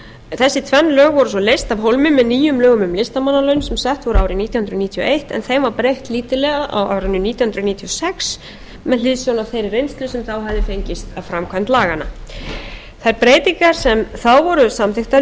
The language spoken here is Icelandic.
þessi tvenn lög voru svo leyst af hólmi með nýjum lögum um listamannalaun sem sett voru árið nítján hundruð níutíu og eitt en þeim var breytt lítillega á árinu nítján hundruð níutíu og sex með hliðsjón af þeirri reynslu sem þá hafði fengist af framkvæmd laganna þær breytingar sem þá voru samþykktar